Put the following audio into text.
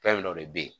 Fɛn dɔ de bɛ yen